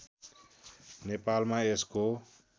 नेपालमा यसको